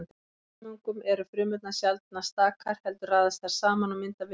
Í fjölfrumungum eru frumurnar sjaldnast stakar heldur raðast þær saman og mynda vefi.